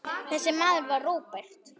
Þessi maður var Róbert.